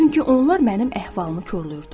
Çünki onlar mənim əhvalımı korlayırdı.